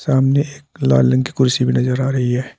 सामने एक लाल रंग की कुर्सी भी नजर आ रही है।